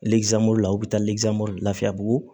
la u bɛ taa lafiyabugu